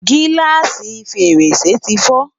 giláasi fèrèsé ti fo